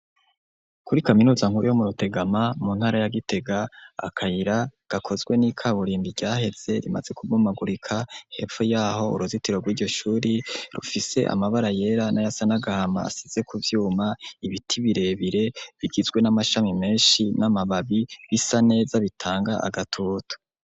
Kuri kaminuza nkuru yo murutegama mu ntara ya gitega akayira gakozwe ni kaburimbi ryaheze rimaze kubomagurika ,hepfo yaho uruzitiro gwiryo shure rufise amabara yera nayasa nagahama asize kuvyuma ,ibiti birebire bigizwe namashami menshi namababi bisa neza bitanga agatutu.